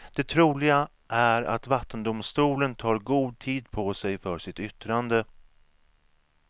Det troliga är att vattendomstolen tar god tid på sig för sitt yttrande.